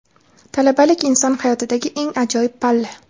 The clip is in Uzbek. Talabalik - inson hayotidagi eng ajoyib palla!.